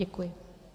Děkuji.